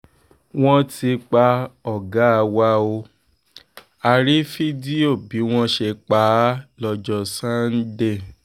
wọ́n ti pa ọ̀gá wa ó a rí fídíò bí wọ́n ṣe pa á lọ́jọ́ sànńdẹ̀